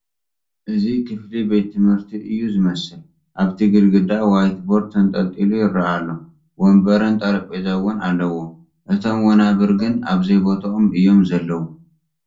እዚ ክፍሊ ቤት ትምህርቲ እዩ ዝመስል፡፡ ኣብቲ ግድግዳ ዋይት ቦርድ ተንጠልጢሉ ይርአ ኣሎ፡፡ ወንበርን ጠረጴዛ እውን ኣለዉ፡፡ እቶም ወናብር ግን ኣብዘይቦትኦም እዮም ዘለዉ፡፡